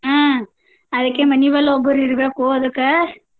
ಹಾ ಅದಕ್ಕೆ ಮನಿನಲ್ ಒಬ್ಬರಿರ್ಬೇಕು ಅದಕ್ಕ.